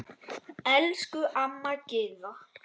Elsku amma Gyða.